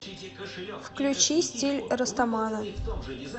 включи стиль растамана